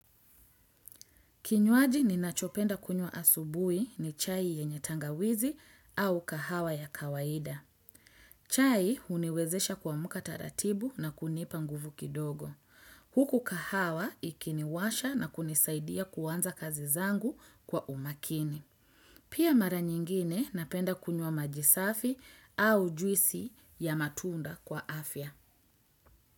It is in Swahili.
Kinywaji ninachopenda kunywa asubui ni chai yenye tangawizi au kahawa ya kawaida. Chai huniwezesha kuamka taratibu na kunipa nguvu kidogo. Huku kahawa ikiniwasha na kunisaidia kuanza kazi zangu kwa umakini. Pia mara nyingine, napenda kunywa maji safi au juisi ya matunda kwa afya.